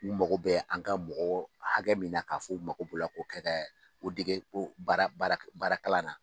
U mako bɛ an ka mɔgɔ hakɛ min na k'a fɔ 'u mako bo la ko kɛ dɛ ko dege ko baara baara baara kalan na.